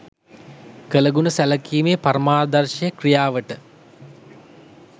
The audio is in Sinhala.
කළගුණ සැලකීමේ පරමාදර්ශය ක්‍රියාවට